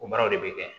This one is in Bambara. O baaraw de bɛ kɛ